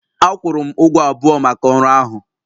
A kwụrụ m ụgwọ abụọ maka ọrụ ahụ